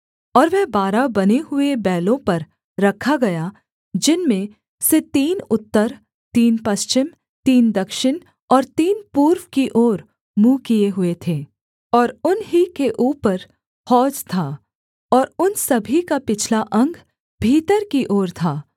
और वह बारह बने हुए बैलों पर रखा गया जिनमें से तीन उत्तर तीन पश्चिम तीन दक्षिण और तीन पूर्व की ओर मुँह किए हुए थे और उन ही के ऊपर हौज था और उन सभी का पिछला अंग भीतर की ओर था